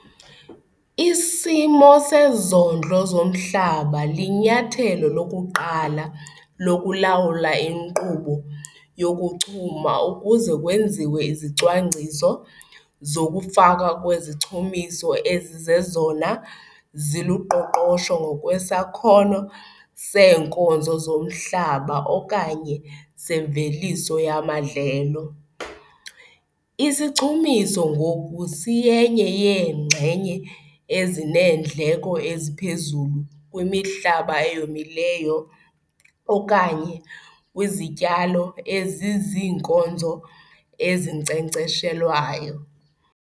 Isimo sezondlo zomhlaba linyathelo lokuqala lokulawula inkqubo yokuchuma ukuze kwenziwe izicwangciso zokufakwa kwezichumiso ezizezona ziluqoqosho ngokwesakhono seenkozo zomhlaba okanye semveliso yamadlelo. Isichumiso ngoku siyenye yeenxenye ezineendleko eziphezulu kwimihlaba eyomileyo okanye kwizityalo eziziinkozo ezinkcenkceshelwayo.